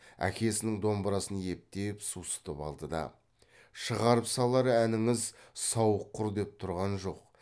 әкесінің домбырасын ептеп сусытып алды да шығарып салар әніңіз сауық құр деп тұрған жоқ